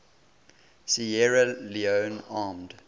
sierra leone armed